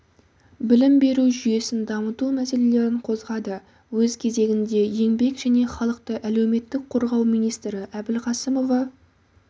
білім беру жүйесін дамыту мәселелерін қозғады өз кезегінде еңбек және халықты әлеуметтік қорғау министрі әбілқасымова